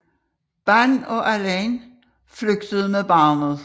Ban og Elaine flygtede med barnet